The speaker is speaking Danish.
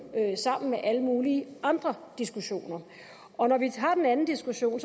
sammen med alle mulige andre diskussioner og når vi har den anden diskussion